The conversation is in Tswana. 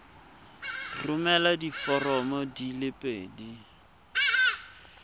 romela diforomo di le pedi